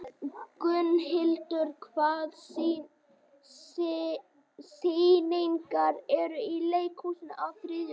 Gunnhildur, hvaða sýningar eru í leikhúsinu á þriðjudaginn?